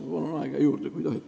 Ma palun aega juurde, kui tohib.